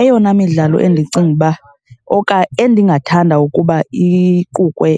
Eyona midlalo endicinga uba , endingathanda ukuba iqukulwe